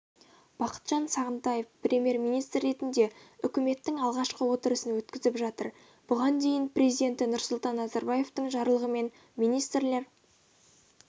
бақытжан сағынтаев премьер-министр ретінде үкіметтің алғашқы отырысын өткізіп жатыр бұған дейін президенті нұрсұлтан назарбаевтың жарлығымен министрлер